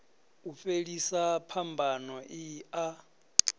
u fhelisa phambano i a